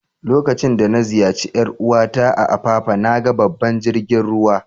Lokacin da na ziyace yar uwa ta a'Apapa, na gan babban jirigin ruwa.